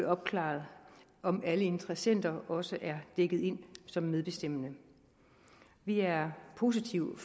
opklaret om alle interessenter også er dækket ind som medbestemmende vi er positive